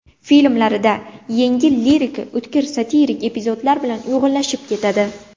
Filmlarida yengil lirika o‘tkir satirik epizodlar bilan uyg‘unlashib ketadi.